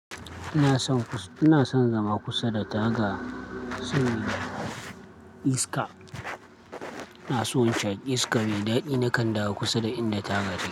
Ina son, ina son zama kusa da taga saboda iska. Ina so in sha iska mai dadi, nakan dawo kusa da inda taga take.